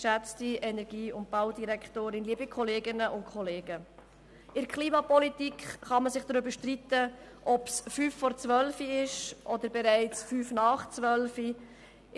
In der Klimapolitik kann man sich darüber streiten, ob es fünf vor zwölf oder bereits fünf nach zwölf ist.